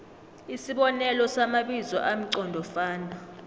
isibonelo samabizo amqondofana